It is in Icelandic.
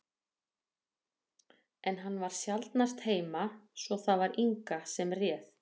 En hann var sjaldnast heima, svo það var Inga sem réð.